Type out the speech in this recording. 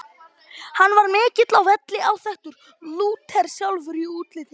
Hann var mikill á velli, áþekkur Lúter sjálfum í útliti.